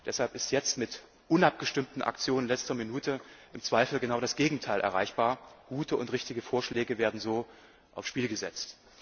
Tisch. Deshalb ist jetzt mit unabgestimmten Aktionen in letzter Minute im Zweifel genau das Gegenteil erreichbar Gute und richtige Vorschläge werden so aufs Spiel gesetzt.